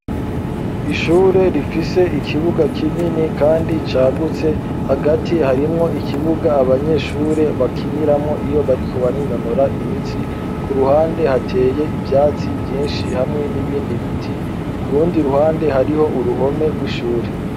Ishure rifise ikibuga kinini kandi cagutse hagati harimwo ikibuga abanyeshure bakiniramwo iyo bariko barinonora imitsi ku ruhande hateye ivyatsi vyinshi hamwe n'ibindi biti kurundi ruhande hariho uruhome rw'ishure.